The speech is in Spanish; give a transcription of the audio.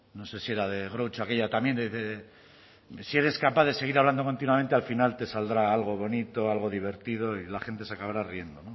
no sé si era de groucho aquella también que dice si eres capaz de seguir hablando continuamente al final te saldrá algo bonito algo divertido y la gente se acabará riendo